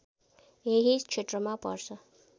यही क्षेत्रमा पर्छ